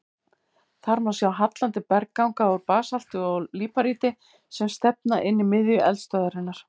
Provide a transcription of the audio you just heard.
Þar má sjá hallandi bergganga úr basalti og líparíti sem stefna inn að miðju eldstöðvarinnar.